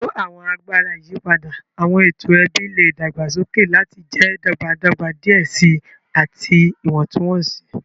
Pẹlu awọn agbara iyipada, awọn eto ẹbi le dagbasoke lati jẹ dọgbadọgba diẹ sii ati iwọntunwọnsi.